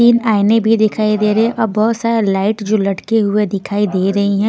तीन आयने भी दिखाई दे रहे हैं और बहुत सारे लाइट जो लटके हुए दिखाई दे रहे हैं.